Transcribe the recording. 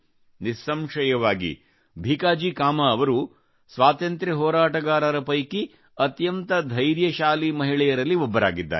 ನಿಸ್ಸಂಶಯವಾಗಿ ಭೀಕಾಜಿಕಾಮಾ ಅವರು ಸ್ವಾತಂತ್ರ್ಯ ಹೋರಾಟಗಾರರ ಪೈಕಿ ಅತ್ಯಂತ ಧೈರ್ಯಶಾಲಿ ಮಹಿಳೆಯರಲ್ಲಿ ಒಬ್ಬರಾಗಿದ್ದಾರೆ